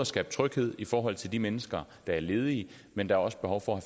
skabe tryghed i forhold til de mennesker der er ledige men der er også behov for at